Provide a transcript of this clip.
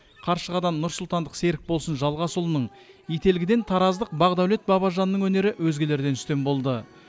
қаршығадан нұрсұлтандық серікболсын жалғасұлының ителгіден тараздық бақдәулет бабажанның өнері өзгелерден үстем болды